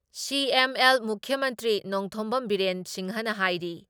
CM. L ꯃꯨꯈ꯭ꯌ ꯃꯟꯇ꯭ꯔꯤ ꯅꯣꯡꯊꯣꯝꯕꯝ ꯕꯤꯔꯦꯟ ꯁꯤꯡꯍꯅ ꯍꯥꯏꯔꯤ